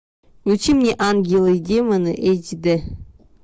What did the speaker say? включи мне ангелы и демоны эйч дэ